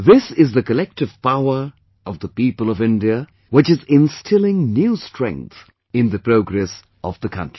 This is the collective power of the people of India, which is instilling new strength in the progress of the country